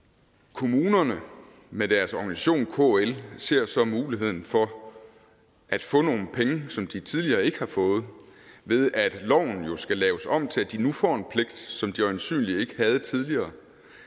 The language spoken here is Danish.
kommunerne med deres organisation kl ser så muligheden for at få nogle penge som de tidligere ikke har fået ved at loven jo skal laves om til at de nu får en pligt som de øjensynlig ikke havde tidligere